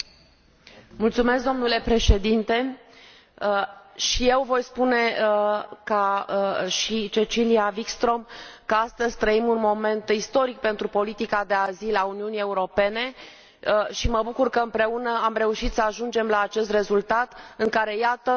Și eu voi spune, ca și Cecilia Wikström, că astăzi trăim un moment istoric pentru politica de azil a Uniunii Europene și mă bucur că, împreună, am reușit să ajungem la acest rezultat, prin care, iată, săptămâna aceasta